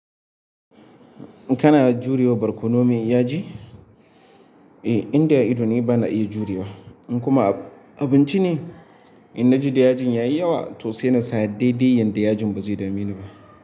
Kana jurewa borkono mai yaji eh inda ido ne ina iya jurewa kuma abinci ne? In na ji da yajin ya yi yawa, to sai na sa daidai yadda yajin ba zai dame ni ba.